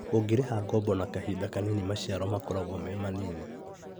ũngĩrĩha ngoombo na kahinda kanini maciaro makoragwo me manini